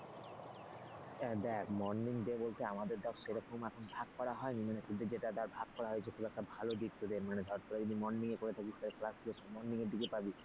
দেখ morning day দিয়ে বলতে আমাদের তো সে রকম এখন ভাগ করা হয়নি। মানে তোদের যেটা দেখ ভাগ করা হয়েছে খুব একটা ভালো দিক তোদের মানে ধর তোরা যদি morning এ করে থাকিস তাহলে ক্লাসগুলো সব morning এর দিকে পাবি,